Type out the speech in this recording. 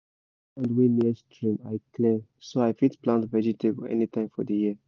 wey near stream i clear so i fit plant vegetable anytime for the year